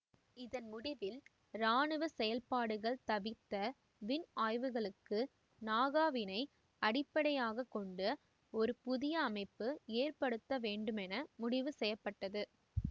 இதன் முடிவில் இராணுவ செயல்பாடுகள் தவிர்த்த விண் ஆய்வுகளுக்கு நாகா வினை அடிப்படையாக கொண்ட ஒரு புதிய அமைப்பு ஏற்படுத்த வேண்டுமென முடிவுசெய்யப்பட்டது